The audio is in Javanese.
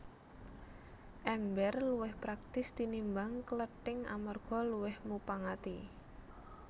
Èmbèr luwih praktis tinimbang klething amarga luwih mupangati